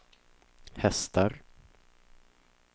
hästar